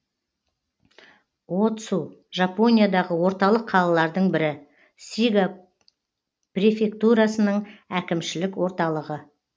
о цу жапониядағы орталық қалалардың бірі сига префектурасының әкімшілік орталығы